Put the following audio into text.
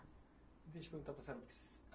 Deixa eu perguntar para a senhora que se, a